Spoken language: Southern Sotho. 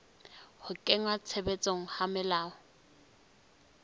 ho kenngwa tshebetsong ha melao